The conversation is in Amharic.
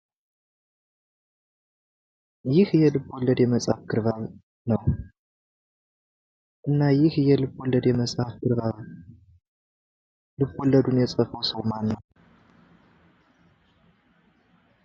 ይህ የልቦለድ የመጽሃፍ ግርባብን ነው። እና ይህ ልቦልድ መጽሃፍ ግርባብ ልቦለዱን ይጻፈው ሰው ማን ነው?